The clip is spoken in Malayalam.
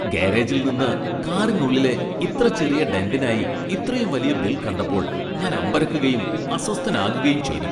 ഗാരേജിൽ നിന്ന് കാറിനുള്ളിലെ ഇത്ര ചെറിയ ഡെന്റിനായി ഇത്രയും വലിയ ബിൽ കണ്ടപ്പോൾ ഞാൻ അമ്പരക്കുകയും അസ്വസ്ഥനാകുകയും ചെയ്തു.